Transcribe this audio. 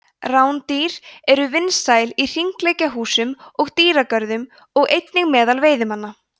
rándýr eru vinsæl í hringleikahúsum og dýragörðum og einnig meðal veiðimanna